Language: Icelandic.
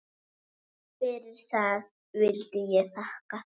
Fyrir það vil ég þakka.